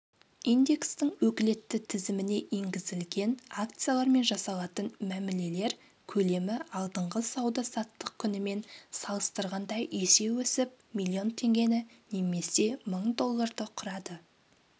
индекстің өкілетті тізіміне енгізілген акциялармен жасалатын мәмілелер көлемі алдыңғы сауда-саттық күнімен салыстырғанда есе өсіп миллион теңгені немесе мың долларды құрады